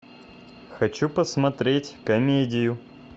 хочу посмотреть комедию